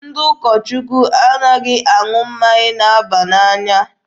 Ndị ụkọ Chukwu anaghị aṅụ mmanya na-aba n'anya.